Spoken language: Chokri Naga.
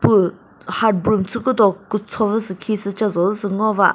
püh hard broom kücho vü sü khisü che drozü sü ngova.